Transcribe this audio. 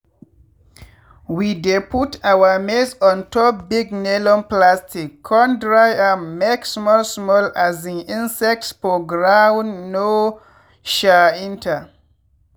we dey put our maize ontop big nylon plastic con dry am make small small um insects for ground no um enter.